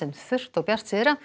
þurrt og bjart syðra